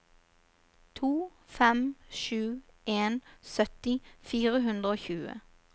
to fem sju en sytti fire hundre og tjue